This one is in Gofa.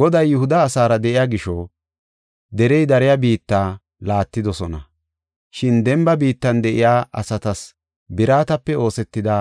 Goday Yihuda asaara de7iya gisho, derey dariya biitta laattidosona. Shin demba biittan de7iya asatas biratape oosetida